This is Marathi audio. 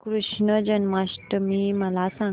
कृष्ण जन्माष्टमी मला सांग